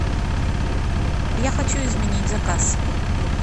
я хочу изменить заказ